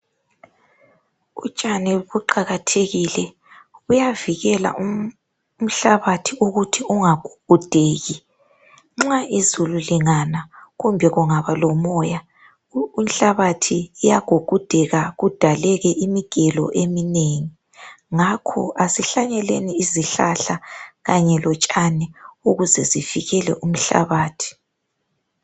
Utshani buqakathekile. Buyavikela umhlabathi ukuthi ungagugudeki. Nxa izulu lingana kumbe kungaba lomoya, inhlabathi iyagugudeka kudaleke imigelo eminengi. Ngakho asihlanyeleni izihlahla kanye lotshani ukuze sivikele umhlabathi.